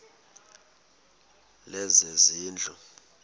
lezezindlu